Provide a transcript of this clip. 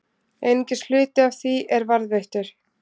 Einungis hluti af því er varðveittur.